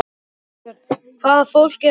Þorbjörn: Hvaða fólk er þetta?